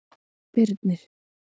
Birnir